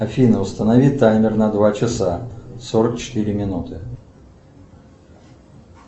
афина установи таймер на два часа сорок четыре минуты